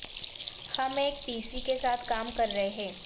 ہم ایک پی سی کے ساتھ کام کر رہے ہیں